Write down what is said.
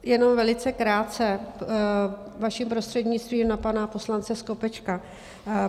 Jenom velice krátce, vaším prostřednictvím, na pana poslance Skopečka.